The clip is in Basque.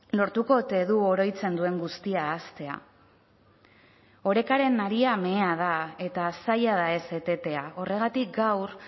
lortuko ote du oroitzen duen guztia ahaztea orekaren haria mehea da eta zaila da ez etetea horregatik gaur